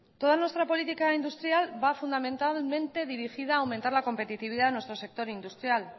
toda nuestra política industrial va fundamentalmente dirigida a aumentar la competitividad en nuestro sector industrial